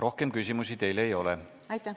Rohkem küsimusi teile ei ole.